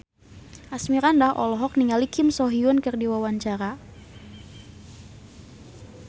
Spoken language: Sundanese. Asmirandah olohok ningali Kim So Hyun keur diwawancara